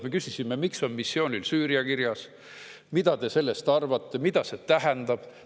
Me küsisime, miks on missioonil kirjas Süüria, mida ta sellest arvab, mida see tähendab.